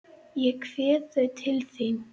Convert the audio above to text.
Ég kveð þau til þín.